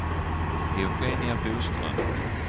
Eugenia Boström